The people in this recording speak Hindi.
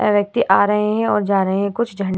अ व्यक्ति आ रहे हैं और जा रहे हैं कुछ झन --